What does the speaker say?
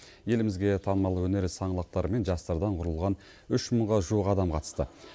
елімізге танымал өнер саңлақтары мен жастардан құрылған үш мыңға жуық адам қатысты